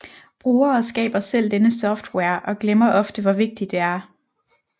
Brugere skaber selv denne software og glemmer ofte hvor vigtig det er